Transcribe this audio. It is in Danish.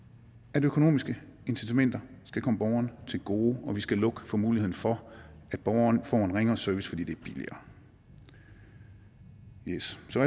at økonomiske incitamenter skal komme borgerne til gode og vi skal lukke for muligheden for at borgerne får en ringere service fordi det er billigere yes så